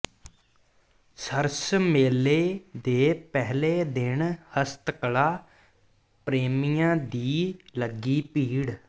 ਸਰਸ ਮੇਲੇ ਦੇ ਪਹਿਲੇ ਦਿਨ ਹਸਤਕਲਾ ਪ੍ਰੇਮੀਆਂ ਦੀ ਲੱਗੀ ਭੀੜ